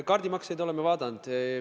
Kaardimakseid oleme vaadanud.